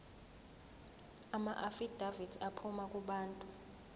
amaafidavithi aphuma kubantu